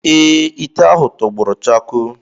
Ee, ite ahụ tọgbọrọ chakoo.